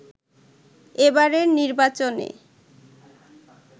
এবারের নির্বাচনে